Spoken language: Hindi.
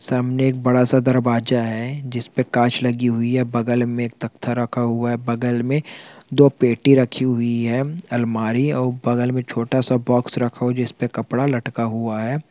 सामने एक बड़ा सा दरवाजा है जिसपे कांच लगी हुई है बगल मे एक तख्ताा रखा हुआ है बगल मे दो पेटी रखी हुई है अलमारी औ बगल मे छोटा सा बॉक्स रखा हुआ हैं जिसपे कपड़ा लटका हुआ है।